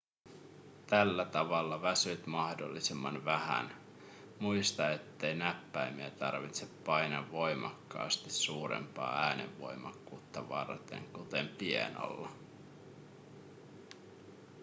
tällä tavalla väsyt mahdollisimman vähän muista ettei näppäimiä tarvitse painaa voimakkaasti suurempaa äänenvoimakkuutta varten kuten pianolla